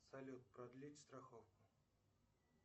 салют продлить страховку